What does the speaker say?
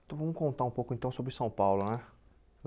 Então vamos contar um pouco então sobre São Paulo, né?